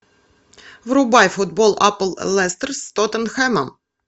врубай футбол апл лестер с тоттенхэмом